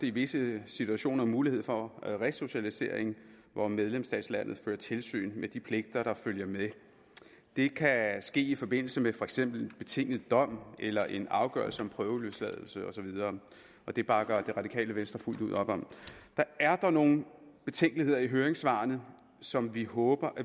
i visse situationer mulighed for resocialisering hvor medlemslandet fører tilsyn med de pligter der følger med det kan ske i forbindelse med for eksempel en betinget dom eller en afgørelse om prøveløsladelse og så videre det bakker det radikale venstre fuldt ud op om der er dog nogle betænkeligheder i høringssvarene som vi håber